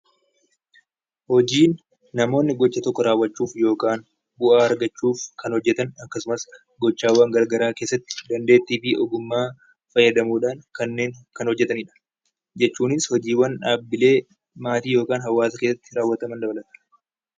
Hojiin namoonni gocha tokko raawwachuuf yookaan waa argachuuf kan hojjetan gochaawwan garaagaraa keessatti dandeettii fi ogummaa fayyadamuudhaan kanneen kana hojjetanidha. Jechuunis hojiiwwan dhaabbilee maatii yookaan hawaasa keessatti raawwatan dabalata.